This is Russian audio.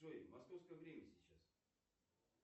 джой московское время сейчас